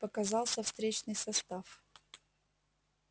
показался встречный состав